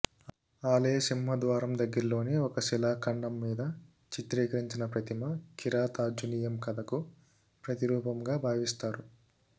ఆలయ సింహ ద్వారం దగ్గరలోని ఒక శిలాఖండం మీద చిత్రించిన ప్రతిమ కిరాతార్జునీయం కథకు ప్రతిరూపంగా భావిస్తారు